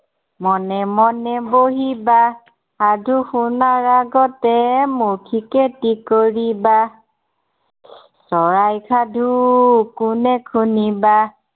মনে মনে বহিবা, সাধু শুনাৰ আগতে মৌখিক এটি কৰিবা। চৰাইৰ সাধু কোনে শুনিবা